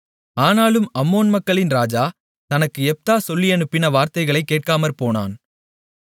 ஆனாலும் அம்மோன் மக்களின் ராஜா தனக்கு யெப்தா சொல்லியனுப்பின வார்த்தைகளை கேட்காமற்போனான்